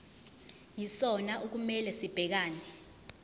yisona okumele sibhekane